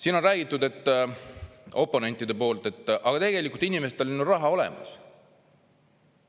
Siin on räägitud oponentide poolt, et aga tegelikult inimestel on ju raha olemas.